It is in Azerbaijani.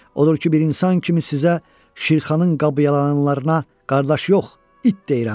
Odur ki, bir insan kimi sizə, Şirxanın qabıyananlarına qardaş yox, it deyirəm.